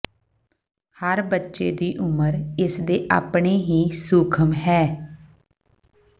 ਹਰ ਬੱਚੇ ਦੀ ਉਮਰ ਇਸ ਦੇ ਆਪਣੇ ਹੀ ਸੂਖਮ ਹੈ